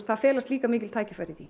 það felast líka mikil tækifæri í því